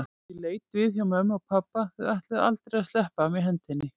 Ég leit við hjá mömmu og pabba, þau ætluðu aldrei að sleppa af mér hendinni.